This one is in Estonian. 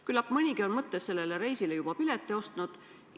Küllap mõnigi on mõttes sellele reisile juba pileti ostnud.